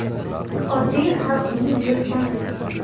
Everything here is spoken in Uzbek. Oddiy xalqning buyurtmasi .